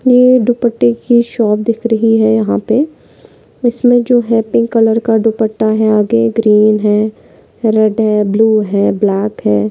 नील दुपट्टा की शॉप दिख रही है। यहा पे इस मे जो है। पिंक कलर का दुपट्टा है आगे ग्रीन है। ब्लू है ब्लैक है।